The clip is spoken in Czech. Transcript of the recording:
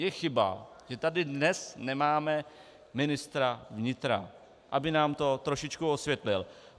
Je chyba, že tady dnes nemáme ministra vnitra, aby nám tom trošičku osvětlil.